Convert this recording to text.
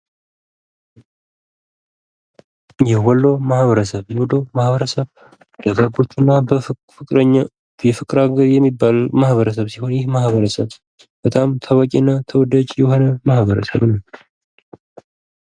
የወሎ ማህበረሰብ፤ የወሎ ማህበረሰብ የፍቅር አገር የሚባል ማህበረሰብ ሲሆን ይህ ማበረሰብ በጣም ታዋቂና ተወዳጅ የሆነ ማህበረሰብ ነው።